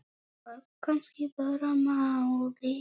Það var kannski bara málið.